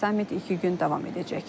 Sammit iki gün davam edəcək.